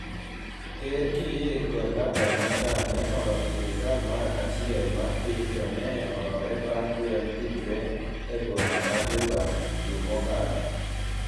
ker Kiir kod laktar Machar ne oloso sirikal mar achiel mar piny to ne olore bang' lweny tugore e boma ma Juba dwe mokalo